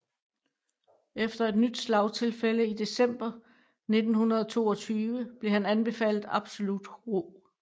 Efter et nyt slagtilfælde i december 1922 blev han anbefalet absolut ro